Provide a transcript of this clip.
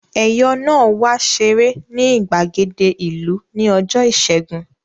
Ẹ̀yọ̀ náà wá ṣeré ní ìgbàgede ìlú ní ọjọ́ ìṣẹ́gun